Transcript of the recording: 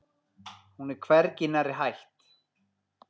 Hún er hvergi nærri hætt.